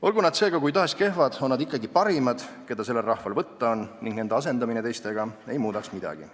Olgu nad seega kui tahes kehvad, on nad ikkagi parimad, keda sellel rahval võtta on, ning nende asendamine teistega ei muudaks midagi.